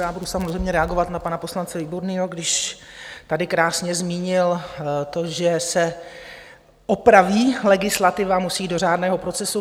Já budu samozřejmě reagovat na pana poslance Výborného, když tady krásně zmínil to, že se opraví legislativa, musí do řádného procesu.